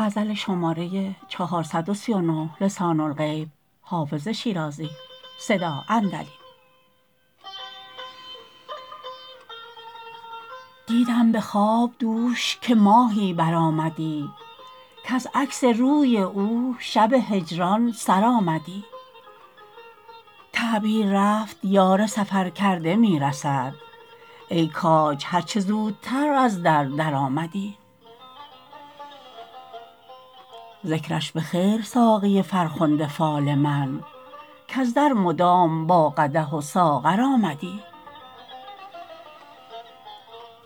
دیدم به خواب دوش که ماهی برآمدی کز عکس روی او شب هجران سر آمدی تعبیر رفت یار سفرکرده می رسد ای کاج هر چه زودتر از در درآمدی ذکرش به خیر ساقی فرخنده فال من کز در مدام با قدح و ساغر آمدی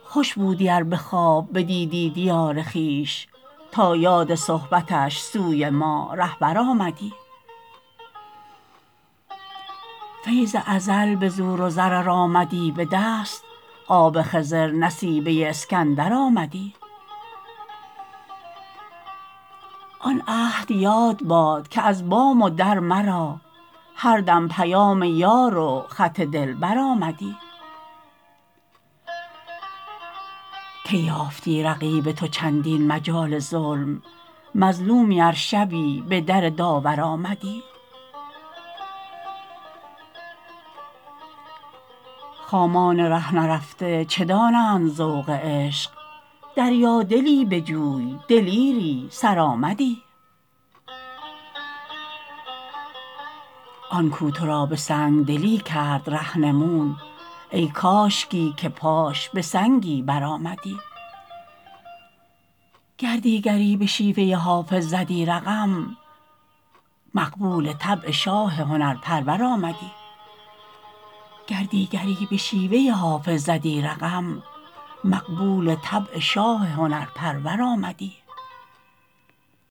خوش بودی ار به خواب بدیدی دیار خویش تا یاد صحبتش سوی ما رهبر آمدی فیض ازل به زور و زر ار آمدی به دست آب خضر نصیبه اسکندر آمدی آن عهد یاد باد که از بام و در مرا هر دم پیام یار و خط دلبر آمدی کی یافتی رقیب تو چندین مجال ظلم مظلومی ار شبی به در داور آمدی خامان ره نرفته چه دانند ذوق عشق دریادلی بجوی دلیری سرآمدی آن کو تو را به سنگ دلی کرد رهنمون ای کاشکی که پاش به سنگی برآمدی گر دیگری به شیوه حافظ زدی رقم مقبول طبع شاه هنرپرور آمدی